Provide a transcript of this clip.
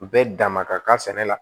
Bɛɛ dama ka kan sɛnɛ la